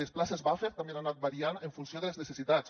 les places buffer també han anat variant en funció de les necessitats